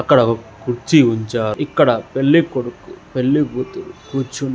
ఇక్కడ ఒక కుర్చీ ఉంచారు. ఇక్కడ పెళ్ళికొడుకు పెళ్లికూతురు కూర్చుని --